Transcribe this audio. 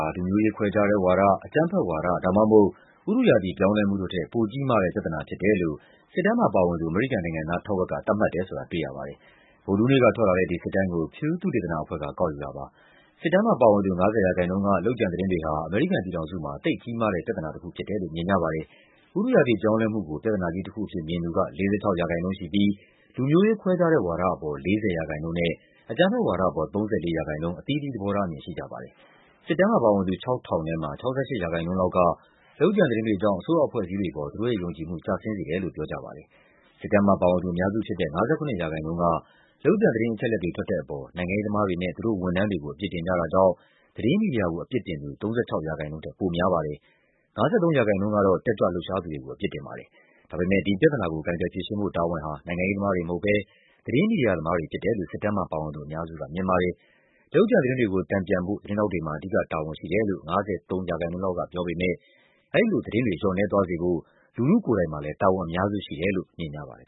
ာ လူမျိုးရေးခွဲခြားတဲ့ဝါဒ၊ အကြမ်းဖက်ဝါဒ ဒါမှမဟုတ် ဥတုရာသီပြောင်းလဲမှုတို့ထက် ပိုကြီးမားတဲ့ ပြဿနာ ဖြစ်တယ်လို့ အမေရိကန်နိုင်ငံသားထက်ဝက်က သတ်မှတ်တယ်ဆိုတာ အသစ်ထွက်လာတဲ့ လူထုသဘောထားစစ်တမ်း ကောက်ယူချက်တခုမှာ တွေ့ရပါတယ်။ ဗုဒ္ဓဟူးနေ့ကထွက်လာတဲ့ ဒီစစ်တမ်းကို Pew သုတေသနအဖွဲ့က ကောက်ယူတာပါ။ စစ်တမ်းမှာပါဝင်သူ ၅၀% က လုပ်ကြံ သတင်းတွေဟာ အမေရိကန်ပြည်ထောင်စုမှာ သိပ်ကြီးမားတဲ့ ပြဿနာတခုဖြစ်တယ်လို့ မြင်ကြပါတယ်။ ဥတုရာသီပြောင်းလဲမှုကို ပြဿနာကြီးတခုအဖြစ်မြင်သူက ၄၆% ရှိပြီး လူမျိုးရေးခွဲခြားတဲ့ဝါဒအပေါ် ၄၀% နဲ့ အကြမ်းဖက်ဝါဒအပေါ် ၃၄% အသီးသီး သဘောထားအမြင်ရှိကြပါတယ်။ စစ်တမ်းမှာပါဝင်သူ ၆,၀၀၀ ထဲမှာ ၆၈% လောက်က လုပ်ကြံသတင်းတွေကြောင့် အစိုးရအဖွဲ့အစည်းတွေအပေါ် သူတို့ရဲ့ယုံကြည် မှု ကျဆင်းစေတယ်လို့ ပြောကြပါတယ်။ စစ်တမ်းမှာပါဝင်သူအများစုဖြစ်တဲ့ ၅၇% က လုပ်ကြံသတင်းအချက်အလက်တွေ ထွက်တဲ့အပေါ် နိုင်ငံရေးသမားတွေနဲ့ သူတို့ ဝန်ထမ်းတွေကို အပြစ်တင်ကြတာကြောင့် သတင်းမီဒီယာကို အပြစ်တင်သူ ၃၆% ထက် ပိုများပါတယ်။ ၅၃% ကတော့ တက်ကြွ လှုပ်ရှားသူတွေကို အပြစ်တင်ပါတယ်။ ဒါပေမယ့် ဒီပြဿနာကို ကိုင်တွယ်ဖြေရှင်းဖို့တာဝန်ဟာ နိုင်ငံရေးသမားတွေမဟုတ်ဘဲ သတင်းမီဒီယာသမားတွေ ဖြစ်တယ်လို့ စစ်တမ်းမှာပါဝင်သူ အများစုကမြင်ပါတယ်။ လုပ်ကြံသတင်းတွေကို တန်ပြန်ဖို့ သတင်းထောက်တွေမှာ အဓိကတာဝန်ရှိတယ်လို့ ၅၃% လောက်ကပြောပေမယ့် အဲဒီလိုသတင်းတွေ လျော့နည်းသွားစေဖို့ လူထုကိုယ်တိုင်မှာလည်း တာဝန်အများစုရှိတယ်လို့ မြင်ကြပါတယ်